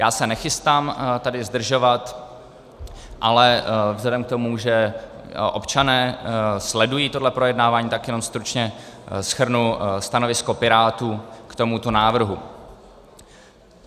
Já se nechystám tady zdržovat, ale vzhledem k tomu, že občané sledují tohle projednávání, tak jenom stručně shrnu stanovisko Pirátů k tomuto návrhu.